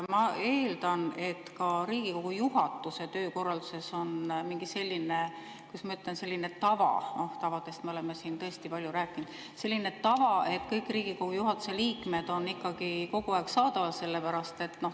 Ma eeldan, et ka Riigikogu juhatuse töökorralduses on mingi selline, kuidas ma ütlen, tava – noh, tavadest me oleme siin tõesti palju rääkinud –, et kõik Riigikogu juhatuse liikmed on ikkagi kogu aeg saadaval.